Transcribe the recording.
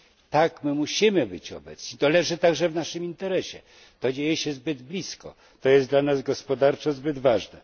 Tak, musimy być obecni, to leży także w naszym interesie, to dzieje się zbyt blisko, to jest dla nas gospodarczo zbyt ważne.